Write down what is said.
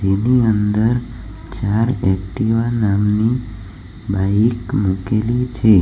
એની અંદર ચાર એકટીવા નામની બાઇક મૂકેલી છે.